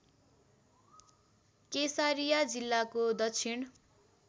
केसारिया जिल्लाको दक्षिण